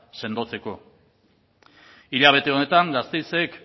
sendotzeko hilabete honetan gasteizek